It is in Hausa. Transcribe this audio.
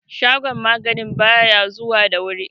shagon maganin ba ya zuwa da wuri